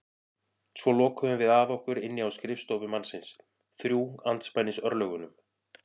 Svo lokuðum við að okkur inni á skrifstofu mannsins, þrjú andspænis örlögunum.